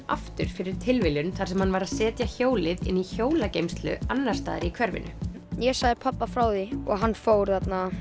aftur fyrir tilviljun þar sem hann var að setja hjólið inn í hjólageymslu annars staðar í hverfinu ég sagði pabba frá því og hann fór